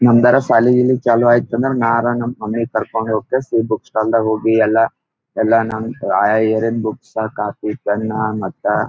ಮಂದಾರ ಶಾಲಿ ಗಿಲಿ ಚಾಲು ಐತ್ ಅಂದ್ರ ನಾ ಅರ್‌ ನಮ್ಮ ಮಮ್ಮಿ ಗ ಕರ್ಕೊಂಡ್ ಹೋಗೆಸಿ ಬುಕ್ ಸ್ಟಾಲ್ ದಗ್ ಹೋಗಿ ಎಲ್ಲ ಎಲ್ಲ ನಮ ಆಹ್ಹ್ ಏರಿಯಾದ ಬುಕ್ಸ್ ಕಾಪಿ ಪೆನ್ನ ಮತ್ತ --